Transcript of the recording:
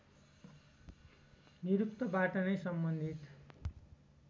निरुक्तबाट नै सम्बन्धित